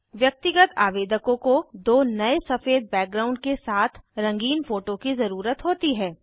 व्यक्तिगत आवेदकों को दो नए सफ़ेद बैकग्राउंड के साथ रंगीन फोटो की ज़रुरत होती है